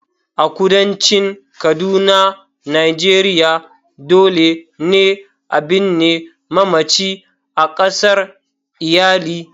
A kudancin kaduna Nigeria, dole ne a binne mamacin a kasar iyali.